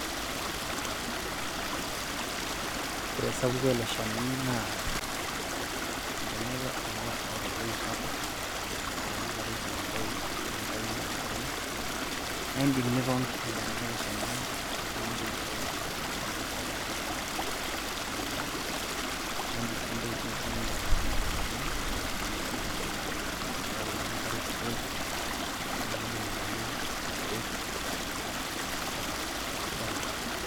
ore esapuko ele shani naa olchani ele oota oloip sapuk naa ore enoshi kata ishiu enkolong' enkai oleng naa idim niton, tentonata eleshani nimikintoki enkolong anya, amu kisapuk naa ele shani neeta ntapuka kumok, naa idim sii nidim atudung'o ele shani, tenasapuko enye nintayu ibaoi ninkarishore. nidung'idung' aitayu irkeek, naa isidai oleng.